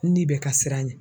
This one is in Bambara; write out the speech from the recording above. N'i bɛ ka siran ɲɛ.